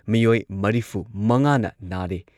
ꯃꯤꯑꯣꯏ ꯃꯔꯤꯐꯨꯃꯉꯥꯅ ꯅꯥꯔꯦ꯫